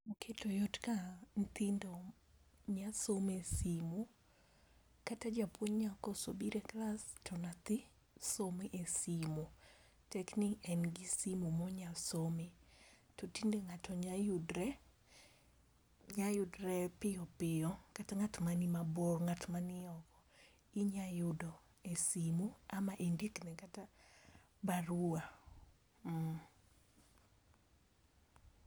Oketo yot ka nyithindo nyalo somo e simu kata japuonj nyalo koso biro e klas, to nyathi somo e simu. Tekni en gi simu ma ginyalo some. To tinde ng'ato nyalo yudre nyalo yudre piyo piyo, kata ng'at man mabor ng'at manio inya yudo e simu ama indikne kata barua, mmm.